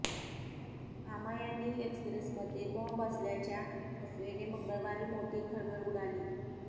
कामायनी एक्प्रेसमध्ये बॉम्ब असल्याच्या अफवेने मंगळवारी मोठी खळबळ उडाली